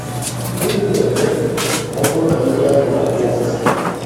Gịnị na-eme ma ọ bụrụ na mmiri ahụ na-agba ụfụfụ?